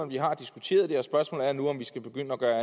vi har diskuteret det spørgsmålet er nu om vi skal begynde at gøre